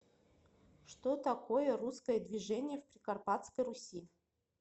что такое русское движение в прикарпатской руси